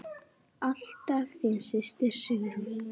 Alltaf þín systir, Sigrún.